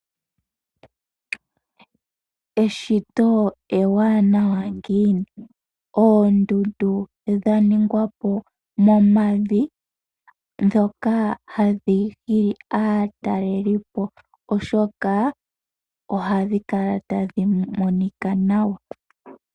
Eshito ewanawa ngiini, oondundu dhaningwa po momavi, dhoka hadhi hili aataleli po oshoka ohadhi kala tadhi monika nawa.